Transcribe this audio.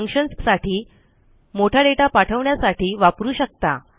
functionsसाठी मोठा दाता पाठवण्यासाठी वापरू शकता